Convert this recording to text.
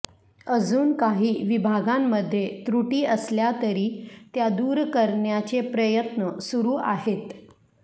अजून काही विभागांमध्ये त्रुटी असल्यातरी त्या दूर करण्याचे प्रयत्न सुरू आहेत